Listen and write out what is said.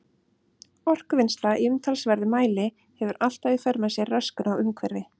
Orkuvinnsla í umtalsverðum mæli hefur alltaf í för með sér röskun á umhverfi.